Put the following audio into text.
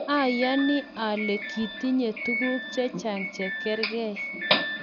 ayani ale kitinye tuguk chechang' che kargei